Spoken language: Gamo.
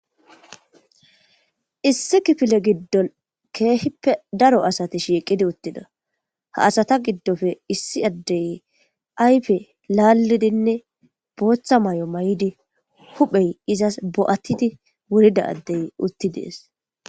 Issi kifile giddon keehippe daro asati shiiqidi uttida ha asata giddofe issi addey ayfe laallidinne booththa may'o may'di huphey izas bo'attidi wurida addey utti dees.